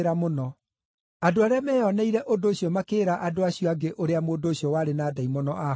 Andũ arĩa meyoneire ũndũ ũcio makĩĩra andũ acio angĩ ũrĩa mũndũ ũcio warĩ na ndaimono aahonetio.